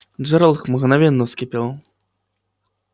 джералд мгновенно вскипел